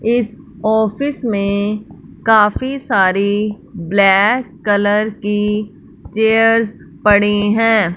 इस ऑफिस में काफी सारी ब्लैक कलर कि चेयर्स पड़ी हैं।